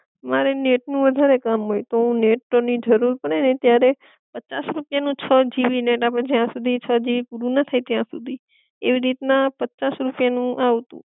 મારે નેટ નું વધારે કામ હોય, તો હું નેટ ની જરૂર પડે ને ત્યારે પચાસ રૂપિયા નું છ જીબી નેટ આપડે જયા સુધી છ જીબી પૂરું ન થાય ત્યાં સુધી, એવી રીત ના પચાસ રૂપિયા નું આવતું